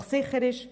Doch sicher ist: